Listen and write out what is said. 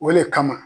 O le kama